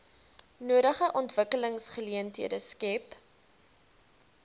nodige ontwikkelingsgeleenthede skep